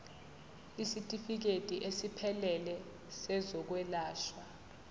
isitifikedi esiphelele sezokwelashwa